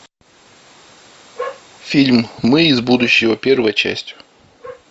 фильм мы из будущего первая часть